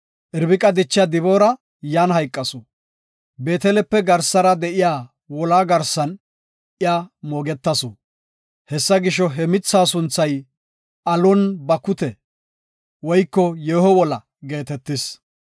Irbiqa dichiya Diboora yan hayqasu. Beetelepe garsara de7iya wolaa garsan iya moogetasu. Hessa gisho, he mitha sunthay Alon-Bakute (Yeeho Wola) geetetis.